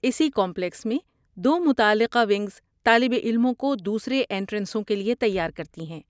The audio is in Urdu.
اسی کمپلیکس میں دو متعلقہ ونگز طالب علموں کو دوسرے اینٹرنسوں کے لیے تیار کرتی ہیں۔